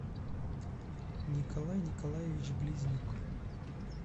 николай николаевич близнюк